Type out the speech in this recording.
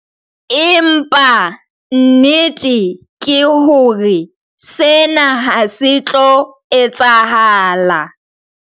Empa, nnete ke hore sena ha se tlo etsahala.